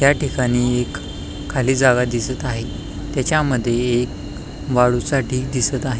त्याठिकाणी एक खाली जागा दिसत आहे त्याच्यामध्ये एक वाळूचा ढीग दिसत आहे.